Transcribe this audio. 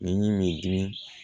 Ni m'i dimi